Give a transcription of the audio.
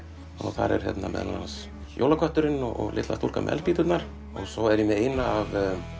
og þar eru ß meðal annars jólakötturinn og litla stúlkan með eldspýturnar svo er ég með eina af